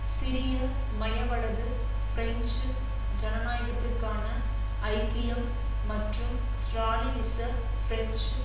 சிறிய மையவலது பிரெஞ்சு ஜனநாயகத்திற்கான ஐக்கியம் மற்றும் ஸ்ராலினிச பிரெஞ்சு